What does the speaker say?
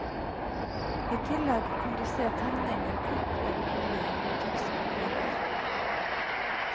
I tillegg kan du se tegninger, kart over boligen og takstpapirer.